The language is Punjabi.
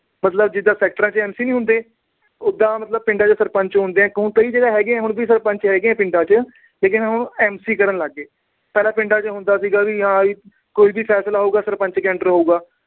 ਮਤਲਬ ਜਿਦਾਂ sector ਚ MC ਨੀ ਹੁੰਦੇ। ਉਦਾਂ ਪਿੰਡਾਂ ਚ ਸਰਪੰਚ ਹੁੰਦੇ ਆ। ਹੁਣ ਵੀ ਕਈ ਜਗ੍ਹਾ ਸਰਪੰਚ ਹੈਗੇ ਆ ਪਿੰਡਾ ਚ। ਠੀਕ ਐ। ਹੁਣ ਉਹ MC ਕਰਨ ਲੱਗ ਪਏ। ਪਹਿਲਾ ਪਿੰਡਾਂ ਚ ਹੁੰਦਾ ਸੀ, ਕੋਈ ਵੀ ਫੈਸਲਾ ਹੋਊਗਾ, ਸਰਪੰਚ ਦੇ under ਹੋਊਗਾ।